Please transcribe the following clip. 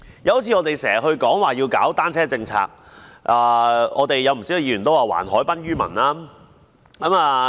再者，我們時常說要推動單車政策，又有不少議員說要還海濱於民。